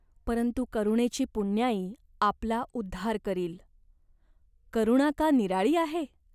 "परंतु करुणेची पुण्याई आपला उद्धार करील. करुणा का निराळी आहे?